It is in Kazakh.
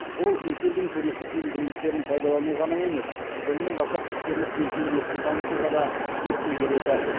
ол екі елдің туристік мүмкіндіктерін пайдалану ғана емес сонымен қатар іскерлік белсенділікті дамытуға да серпін береді